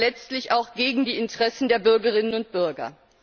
Das wäre letztlich auch gegen die Interessen der Bürgerinnen und Bürger.